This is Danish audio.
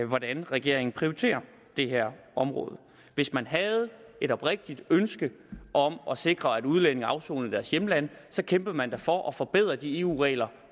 hvordan regeringen prioriterer det her område hvis man havde et oprigtigt ønske om at sikre at udlændinge afsoner i deres hjemlande så kæmpede man da for at forbedre de eu regler